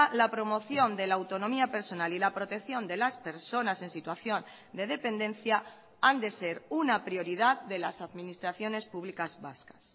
la promoción de la autonomía personal y la protección de las personas en situación de dependencia han de ser una prioridad de las administraciones públicas vascas